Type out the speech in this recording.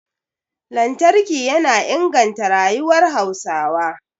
Lantarki yana inganta rayuwar Hausawa